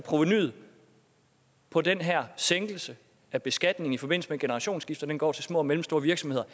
af provenuet på den her sænkelse af beskatningen i forbindelse med generationsskifte går til små og mellemstore virksomheder